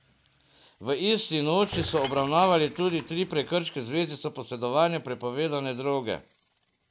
V isti noči so obravnavali tudi tri prekrške v zvezi s posedovanjem prepovedane droge.